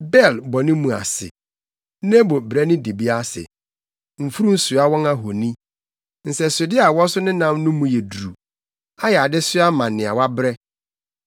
Bel bɔ ne mu ase, Nebo brɛ ne dibea ase; mfurum soa wɔn ahoni. Nsɛsode a wɔso nenam no mu yɛ duru, ɛyɛ adesoa ma nea wabrɛ.